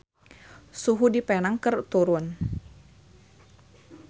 Suhu di Penang keur turun